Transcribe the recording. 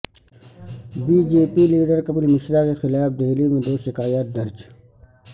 be J P leader Kapil Mishra کے خلاف دہلی میں دو شکایات درج